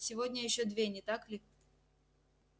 сегодня ещё две не так ли